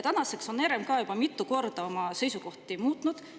Tänaseks on RMK juba mitu korda oma seisukohti muutnud.